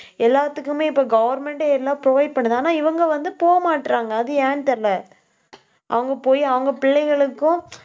எல்லாத்துக்குமே, இப்ப government ஏ எல்லாம் provide பண்ணுது. ஆனா, இவங்க வந்து போக மாட்றாங்க. அது ஏன்னு தெரியலே. அவங்க போய், அவங்க பிள்ளைகளுக்கும்